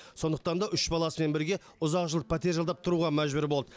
сондықтан да үш баласымен бірге ұзақ жыл пәтер жалдап тұруға мәжбүр болды